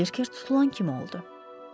Bərkə tutulan kimi oldu.